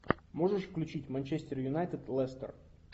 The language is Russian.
можешь включить манчестер юнайтед лестер